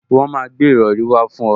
Wọn máa gbé ìrọrí wá fún ọ